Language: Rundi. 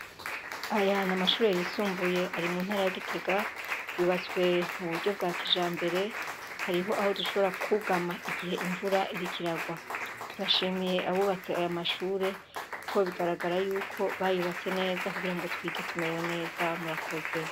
Aya ni amashure yisumbuye ari mu ntara ya Gitega, yubatswe mu buryo bwa kijambere, hariho aho dushobora kwugama igihe imvura iriko iragwa. Turashimiye abubatse aya mashure kuko bigaragara yuko bayubatse neza kugira ngo twige tumerewe neza, murakoze.